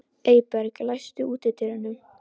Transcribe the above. Eyberg, læstu útidyrunum.